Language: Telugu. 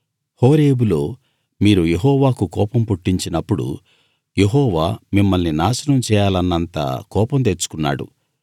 హోరేబులో మీరు యెహోవాకు కోపం పుట్టించినప్పుడు యెహోవా మిమ్మల్ని నాశనం చేయాలన్నంత కోపం తెచ్చుకున్నాడు